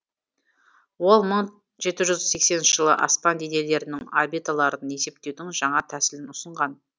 ол мың жеті жүз сексенінші жылы аспан денелерінің орбиталарын есептеудің жаңа тәсілін ұсынған